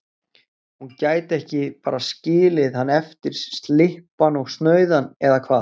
Hún gæti ekki bara skilið hann eftir slyppan og snauðan, eða hvað?